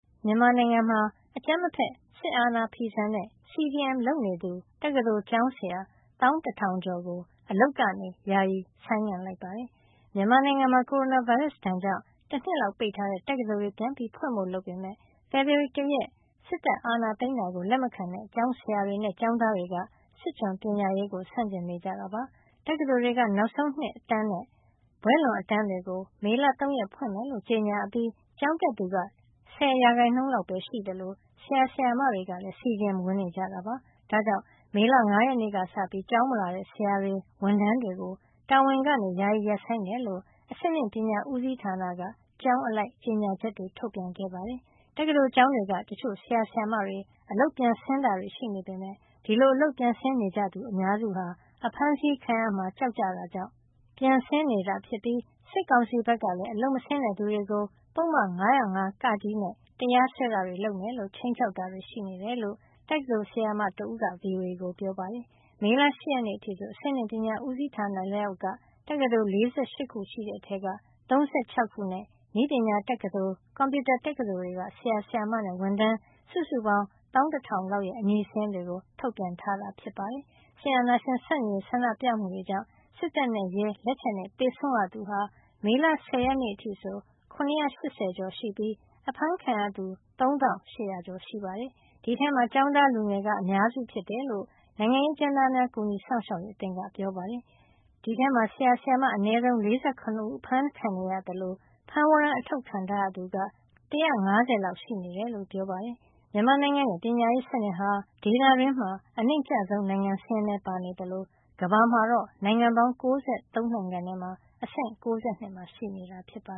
မြန်မာနိုင်ငံမှာ အကြမ်းမဖက် စစ်အာဏာဖီဆန်တဲ့ CDM လုပ်နေသူ တက္ကသိုလ်ကျောင်းဆရာ ၁၁,၀၀၀ ကျော်ကို အလုပ်ကနေ ယာယီဆိုင်းငံ့ လိုက်ပါတယ်။ မြန်မာနိုင်ငံမှာ ကိုရိုနာဗိုင်းရပ်စ် ဒဏ်ကြောင့် တနှစ်လောက်ပိတ်ထားတဲ့ တက္ကသိုလ်တွေ ပြန်ဖွင့်ဖို့ လုပ်ခဲ့ပေမယ့် ဖေဖေါ်ဝါရီလ ၁ ရက် စစ်တပ်က အာဏာသိမ်းတာကို လက်မခံတဲ့ ကျောင်းဆရာတွေနဲ့ ကျောင်းသားတွေက စစ်ကျွန်ပညာရေးကို ဆန့်ကျင်နေကြတာပါ။ တက္ကသိုလ်တွေက နောက်ဆုံးနှစ် အတန်းနဲ့ ဘွဲ့လွန်အတန်းတွေကို မေလ ၃ရက်နေ့က ဖွင့်မယ်လို့ ကြေညာအပြီး ကျောင်းတက်သူက ၁၀ ရာခိုင်နှုန်းလောက်ပဲရှိသလို ဆရာ ဆရာမတွေကလည်း CDM ဝင်နေကြတာပါ။ ဒါကြောင့် မေလ ၅ရက်နေ့ကစပြီး ကျောင်းမလာတဲ့ ဆရာတွေ ဝန်ထမ်းတွေကို တာဝန်ကနေ ယာယီရပ်ဆိုင်းတယ်လို့ အဆင့်မြင့်ပညာ ဦးစီးဌာနက ကျောင်းအလိုက် ကြေညာချက်တွေ ထုတ်ပြန်ခဲ့ပါတယ်။ တက္ကသိုလ်ကျောင်းတွေက တချို့ ဆရာ၊ ဆရာမတွေ အလုပ်ပြန်ဆင်းတာတွေ ရှိနေပေမယ့်လည်း အဲဒီလို အလုပ်ပြန်ဆင်းနေကြသူ အများစုဟာ ဖမ်းဆီးခံရမှာ ကြောက်တာကြောင့် ပြန်ဆင်းနေရတာဖြစ်ပြီး စစ်ကောင်စီဘက်ကလည်း အလုပ်မဆင်းတဲ့သူတွေကို ပုဒ်မ ၅၀၅ (က) နဲ့ တရားစွဲတာတွေ လုပ်မယ်လို့ ခြိမ်းခြောက်တာတွေ ရှိနေတယ်လို့ တက္ကသိုလ် ဆရာမတဦးက ဗွီအိုအေကို ပြောပါတယ်။ မေလ ၈ရက်နေ့အထိဆို အဆင့်မြင့်ပညာဦးစီးဌာန လက်အောက်က တက္ကသိုလ် ၄၈ ခု ရှိတဲ့ အထဲက ၃၆ ခု နဲ့ နည်းပညာတက္ကသိုလ်၊ ကွန်ပြူတာ တက္ကသိုလ်တွေက ဆရာ၊ဆရာမနဲ့ ဝန်ထမ်းစုစုပေါင်း ၁၁,၀၀၀ လောက် ရဲ့ အမည်စာရင်းတွေ ထုတ်ပြန်ထားတာ ဖြစ်ပါတယ်။ စစ်အာဏာရှင်ဆန့်ကျင်ရေး ဆန္ဒပြမှုတွေကြောင့် စစ်တပ်နဲ့ရဲ လက်ချက်နဲ့ သေဆုံးရသူဟာ မေလ ၁၀ ရက်နေ့အထိဆို ၇၈၀ ကျော်ရှိပြီး အဖမ်းခံရသူ ၃၈၀၀ ကျော်ထဲမှာ ကျောင်းသားလူငယ်က အများစုဖြစ်တယ်လို့ နိုင်ငံရေး အကျဉ်းသားများကူညီစောင့်ရှောက်ရေးအသင်း AAPP ကပြောပါတယ်။ အဲဒီထဲမှာ ဆရာဆရာမ အနည်းဆုံး ၄၇ ဦး အဖမ်းခံနေရသလို ဖမ်းဝရမ်း အထုတ်ခံထားရ သူက ၁၅၀ လောက် ရှိနေတယ်လို့ ပြောပါတယ်။ မြန်မာနိုင်ငံရဲ့ ပညာရေးစနစ်ဟာ ဒေသတွင်းမှာ အနိမ့်ကျဆုံးနိုင်ငံ စာရင်းထဲ ပါနေသလို ကမ္ဘာမှာတော့ နိုင်ငံပေါင်း ၉၃ နိုင်ငံထဲမှာ အဆင့်က ၉၂ မှာ ရှိနေတာပါ